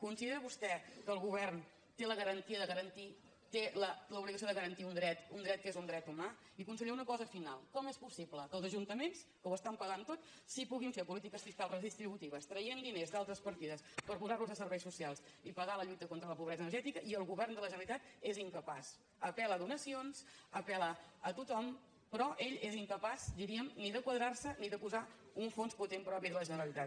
considera vostè que el govern té l’obligació de garantir un dret un dret que és un dret humà i conseller una cosa final com és possible que els ajuntaments que ho estan pagant tot sí que puguin fer polítiques fiscals redistributives traient diners d’altres partides per posar los a serveis socials i pagar la lluita contra la pobresa energètica i el govern de la generalitat és incapaç apelríem ni de quadrar se ni de posar un fons potent propi de la generalitat